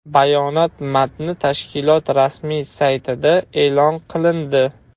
Bayonot matni tashkilot rasmiy saytida e’lon qilindi .